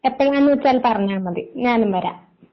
എപ്പോഴാണ് വെച്ചാൽ പറഞ്ഞാൽ മതി ഞാനും വരാം.